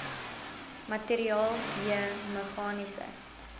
materiaal j meganiese